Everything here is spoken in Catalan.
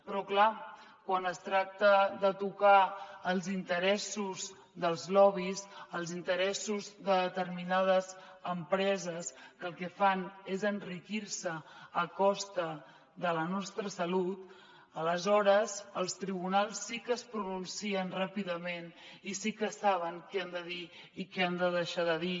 però clar quan es tracta de tocar els interessos dels lobbys els interessos de determinades empreses que el que fan és enriquir se a costa de la nostra salut aleshores els tribunals sí que es pronuncien ràpidament i sí que saben què han de dir i què han de deixar de dir